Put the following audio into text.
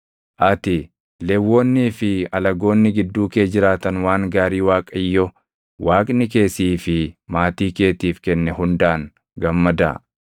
Ati, Lewwonnii fi alagoonni gidduu kee jiraatan waan gaarii Waaqayyo Waaqni kee sii fi maatii keetiif kenne hundaan gammadaa.